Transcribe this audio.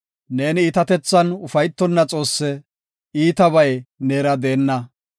Neeni iitatethan ufaytonna Xoosse; iitabay neera deenna.